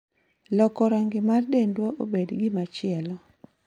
loko rangi mar dendwa obed gimachielo.